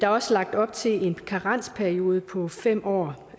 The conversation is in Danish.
også lagt op til en karensperiode på fem år